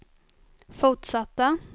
fortsatta